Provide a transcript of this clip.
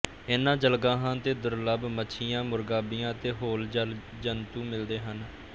ਇਨ੍ਹਾਂ ਜਲਗਾਹਾਂ ਤੇ ਦੁਰਲੱਭ ਮੱਛੀਆਂ ਮੁਰਗਾਬੀਆਂ ਅਤੇ ਹੋਰ ਜਲ ਜੰਤੂ ਮਿਲਦੇ ਹਨ